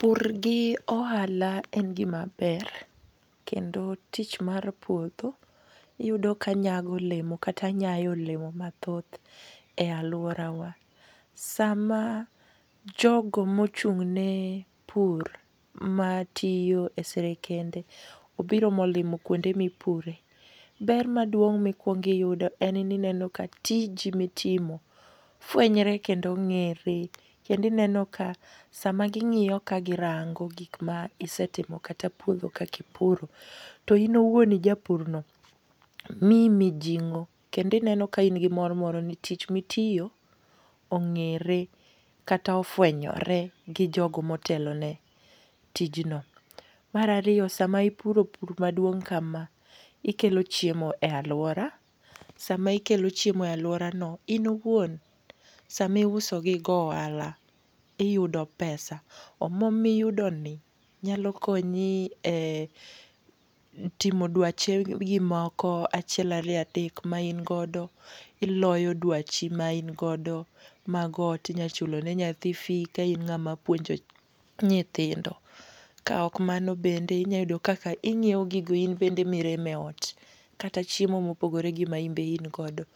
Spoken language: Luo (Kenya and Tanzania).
Pur gi ohala en gima ber. Kendo tich mar puodho iyudo ka nyago olemo, kata nyayo olemo mathoth e alworawa. Sama jogo mochung' ne pur, matiyo e sirikende, obiro molimo kuonde mipure, ber maduong' mikuongo iyudo en ni ineno ka tiji mitimo fwenyore kendo ng'ere. Kendo ineno ka sama ging'iyo ka girango gik ma isetimo, kata puodho kaka ipuro, to in owuon ijapur no, miyi mijing'o. Kendo ineno ka in gi mor moro ni tich mitiyo ong'ere, kata ofwenyore gi jogo motelone tijno. Mar ariyo sama ipuro pur maduong' kama, ikelo chiemo e alwora. Sama ikelo chiemo e alworano, in owuon sama iuso gi igo ohala, iyudo pesa. Omwuom ma iyudoni, nyalo konyo e timo dwachegi moko achiel ariyo adek ma in godo. Iloyo dwachi ma in godo mag ot. Inyalo chulo ne go nyathi fee ka in ng'ama puonjo nyithindo. Ka ok mano bende inyalo yudo kaka inyiewo gigo in bende ma iremo e ot. Kata chiemo mopogore gi ma in be in godo.